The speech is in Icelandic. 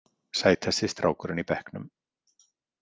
Sætasti strákurinn í bekknum.